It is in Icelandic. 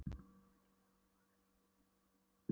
hvernig getur nokkur maður verið hamingjusamur í verkbókhaldi.